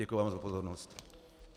Děkuji vám za pozornost.